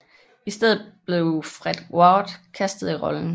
I stedet blev Fred Ward castet i rollen